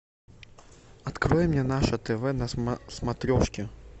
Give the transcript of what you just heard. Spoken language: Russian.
открой мне наше тв на смотрешке